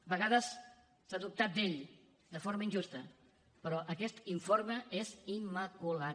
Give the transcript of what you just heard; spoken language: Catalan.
a vegades s’ha dubtat d’ell de forma injusta però aquest informe és immaculat